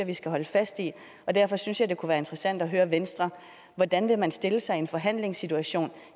vi skal holde fast i derfor synes jeg at det kunne være interessant at høre venstre hvordan vil man stille sig i en forhandlingssituation